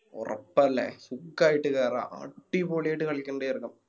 ഒറപ്പല്ലേ സുഖായിട്ട് കേറാ അടിപൊളിയായിട്ട് കളിക്കണിണ്ട് ചേർക്കൻ